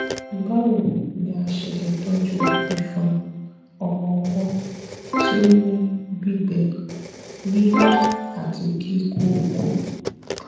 báwo ni a ṣe lè tọjú ìfọn ọmọ ọwọ tí ó ó ní gbígbẹ yíyún àti kíkókó